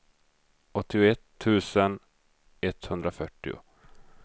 åttioett tusen etthundrafyrtio